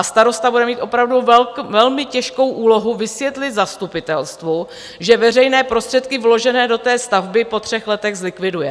A starosta bude mít opravdu velmi těžkou úlohu vysvětlit zastupitelstvu, že veřejné prostředky vložené do té stavby po třech letech zlikviduje.